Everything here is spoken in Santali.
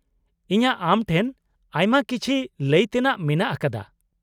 ᱤᱧᱟ.ᱜ ᱟᱢᱴᱷᱮᱱ ᱟᱭᱢᱟ ᱠᱤᱪᱷᱤ ᱞᱟ.ᱭ ᱛᱮᱱᱟᱜ ᱢᱮᱱᱟᱜ ᱟᱠᱟᱫᱟ ᱾